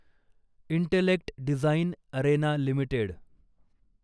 intellect design arena limited